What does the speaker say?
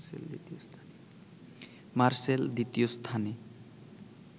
মারসেল দ্বিতীয় স্থানে